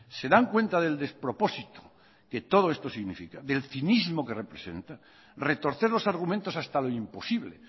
se dan cuenta del despropósito que todo esto significa del cinismo que representa retorcer los argumentos hasta lo imposible